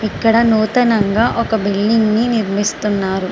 ఇక్కడ నూతనంగా ఒక బిల్డింగ్ ని నిర్మస్తున్నారు.